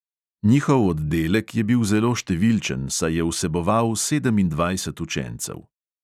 Njihov oddelek je bil zelo številčen, saj je vseboval sedemindvajset učencev.